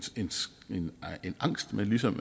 angst man ligesom